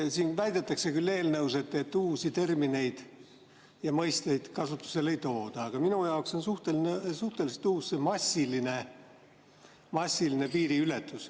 Siin väidetakse küll, et eelnõus uusi termineid ja mõisteid kasutusele ei tooda, aga minu jaoks on suhteliselt uus see "massiline piiriületus".